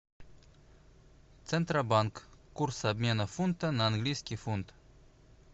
центробанк курс обмена фунта на английский фунт